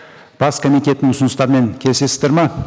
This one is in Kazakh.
бас комитеттің ұсыныстарымен келісесіздер ме